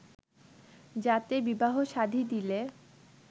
যাতে বিবাহ শাদী দিলে